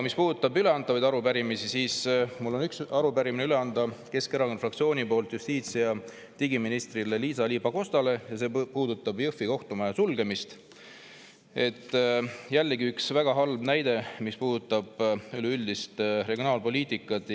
Mis puudutab üleantavaid arupärimisi, siis mul on üks arupärimine üle anda Keskerakonna fraktsiooni poolt justiits‑ ja digiminister Liisa-Ly Pakostale ja see puudutab Jõhvi kohtumaja sulgemist – jällegi üks väga halb näide, mis puudutab üleüldist regionaalpoliitikat.